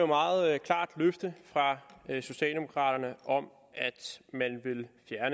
meget klart løfte fra socialdemokraterne om